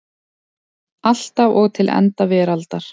Alltaf og til enda veraldar.